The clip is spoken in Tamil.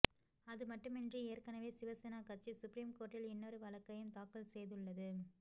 அது மட்டுமின்றி ஏற்கனவே சிவசேனா கட்சி சுப்ரீம் கோர்ட்டில் இன்னொரு வழக்கையும் தாக்கல் செய்துள்ளது